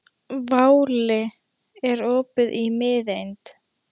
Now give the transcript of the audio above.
Váli, er opið í Miðeind?